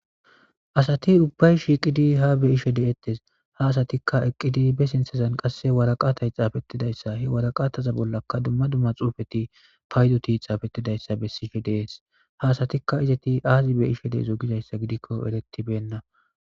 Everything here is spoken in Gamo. Asati ubbay shiqidi ha be ishe de'ettes ha asatikka eqqidi be sintezan qasse waraqatay xaafettidayssa he waraqataza bollaka dumma dumma xuufeti paydoti xaafettidayssa be sishe dees ha asatikka izeti aazi be ishe deezo gizayssa gidikko erettibenna.